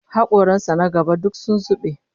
Hakoran sa na gaba duk sun zube